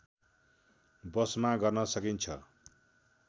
वशमा गर्न सकिन्छ